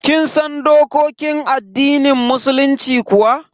Kin san dokokin addinin musulunci kuwa?